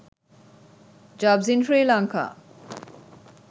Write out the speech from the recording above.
jobs in sri lanka